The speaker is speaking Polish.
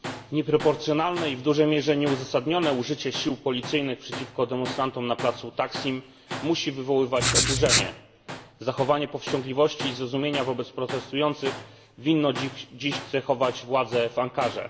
Nieproporcjonalne i w dużej mierze nieuzasadnione użycie sił policyjnych przeciwko demonstrantom na placu Taksim musi wywoływać oburzenie. Zachowanie powściągliwości i zrozumienia wobec protestujących winno dziś cechować władze w Ankarze.